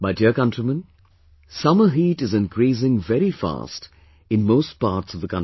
My dear countrymen, summer heat is increasing very fast in most parts of the country